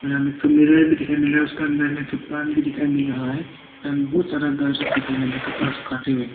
एक तो मिरर भी दिखाई मिल रहा है उसका अंदर में एक पान भी दिखाई मिल रहा है और बहुत सारा घर सब दिखाई मिल रहा है कपड़ा सुखाते हुए।